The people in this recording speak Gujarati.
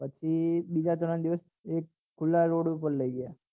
પછી બીજા ત્રણ દિવસ એક ખુલા રોડ ઉપર લઇ ગયા